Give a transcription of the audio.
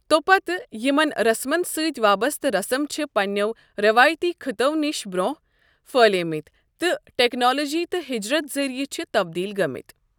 تۄپتہِ یِمَن رسمن سۭتۍ وابستہٕ رسم چھِ پننٮ۪و رٮ۪وٲتی خٕطو نِش برونٛہہ پٔھلیمتۍ تہٕ ٹیکنالوجی تہٕ ہجرت ذریعہٕ چھِ تبدیٖل گٔمٕتۍ۔